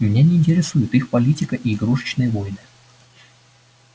меня не интересует их политика и игрушечные войны